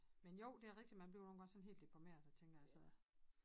Men jo det er rigtig man bliver nogle gange sådan helt deprimeret og tænker altså